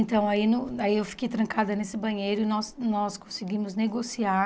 Então, aí no aí eu fiquei trancada nesse banheiro e nós nós conseguimos negociar